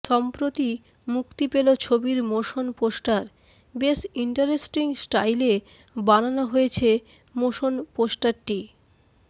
সম্প্রতি মুক্তি পেল ছবির মোশন পোস্টার বেশ ইন্টারেস্টিং স্টাইলে বানানো হয়েছে মোশন পোস্টারটি